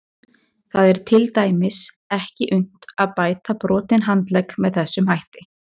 Það er til dæmis ekki unnt að bæta brotinn handlegg með þessum hætti.